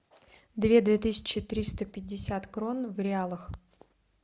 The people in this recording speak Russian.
две две тысячи триста пятьдесят крон в реалах